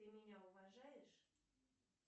ты меня уважаешь